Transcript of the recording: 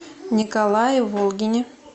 николае волгине